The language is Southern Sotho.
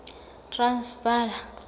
transvala